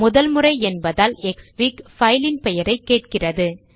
முதல் முறை என்பதால் க்ஸ்ஃபிக் பைல் ன் பெயரை கேட்கிறது